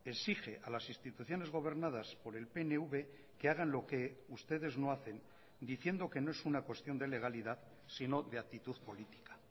exige a las instituciones gobernadas por el pnv que hagan lo que ustedes no hacen diciendo que no es una cuestión de legalidad sino de actitud política